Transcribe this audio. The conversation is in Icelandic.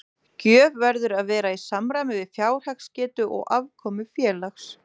Gjöf verður að vera í samræmi við fjárhagsgetu og afkomu félags.